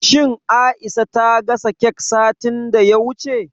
Shin Aisha ta gasa kek satin da ya wuce?